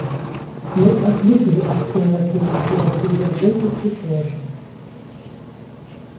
мы отвыкли от темноты и от безработицы тоже